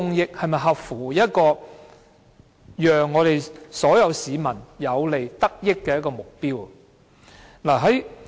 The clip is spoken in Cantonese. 又是否合乎讓所有市民有所得益的目標？